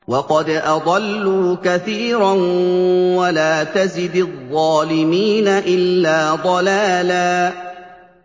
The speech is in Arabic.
وَقَدْ أَضَلُّوا كَثِيرًا ۖ وَلَا تَزِدِ الظَّالِمِينَ إِلَّا ضَلَالًا